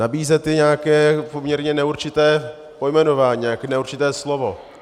Nabízet je nějaké poměrně neurčité pojmenování, nějaké neurčité slovo.